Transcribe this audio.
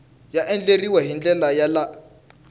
ya andlariwile hi ndlela ya